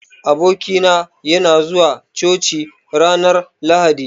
Aboki na, yana zuwa coci ranar lahadi.